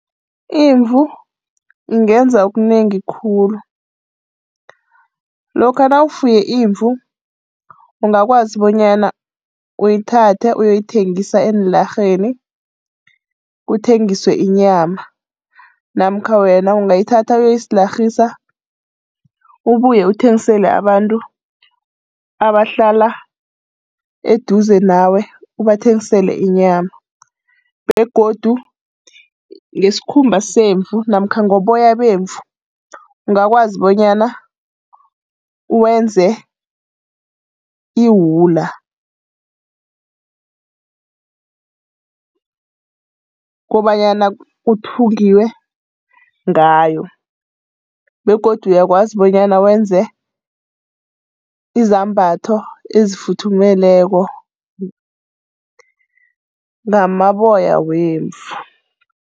Imvu ingenza okunengi khulu. Lokha nawufuye imvu ungakwazi bonyana uyithathe uyoyithengisa eenlarheni, kuthengiswe inyama, namkha wena ungayithatha uyoyislarhisa. Ubuye uthengisele abantu abahlala eduze nawe ubathengisele inyama, begodu ngesikhumba semvu namkha ngoboya bemvu ungakwazi bonyana wenze iwula kobanyana kuthungiwe ngayo, begodu uyakwazi bonyana wenze izambatho ezifuthumeleko ngamaboya wemvu.